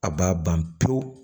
A b'a ban pewu